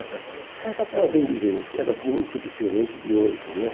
Era bem diferente, era muito diferente de hoje, né?